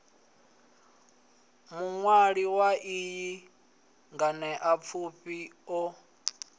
muṅwali wa iyi nganeapfufhi o